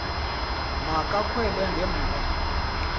ma kakhwele ngemva